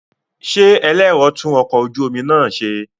Ṣé ẹlẹ́rọ tún ọkọ̀ ojú omi náà ṣe?